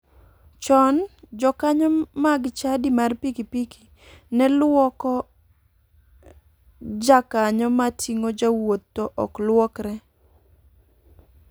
Chon, jokanyo mag chadi mar pikipiki ne luoko jakanyo ma ting'o jowuoth to ok luokre.